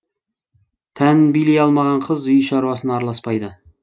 тәнін билей алмаған қыз үй шаруасына араласпайды